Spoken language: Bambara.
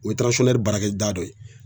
O ye tiransɔnnɛri baarakɛda dɔ ye